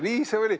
Nii see oli.